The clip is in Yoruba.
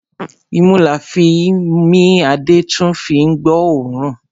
Imú la fín mí a dẹ̀ tún fín gbọ́ ọ̀ọ́rùn.